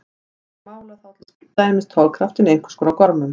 Þær mæla þá til dæmis togkraftinn í einhvers konar gormum.